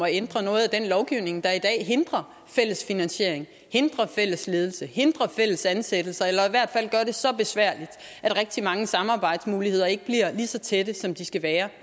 ændre noget af den lovgivning der i dag hindrer fælles finansiering hindrer fælles ledelse hindrer fælles ansættelser eller i hvert fald gør det så besværligt at rigtig mange samarbejdsmuligheder ikke bliver lige så tætte som de skal være